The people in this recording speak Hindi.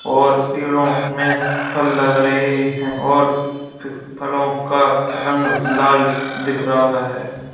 और पेड़ों में फल लग रहे हैं और फिर फलों का रंग लाल दिख रहा है।